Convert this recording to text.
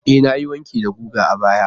E, na yi wanki da giga a baya.